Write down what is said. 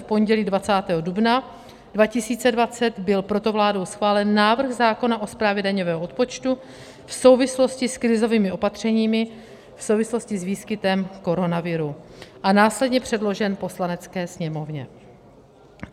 V pondělí 20. dubna 2020 byl proto vládou schválen návrh zákona o správě daňového odpočtu v souvislosti s krizovými opatřeními v souvislosti s výskytem koronaviru a následně předložen Poslanecké sněmovně.